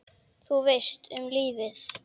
Þú veist, um lífið?